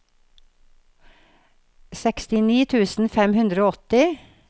sekstini tusen fem hundre og åtti